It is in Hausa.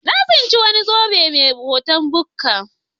Na tsinci wani zobe mai hoton bukka.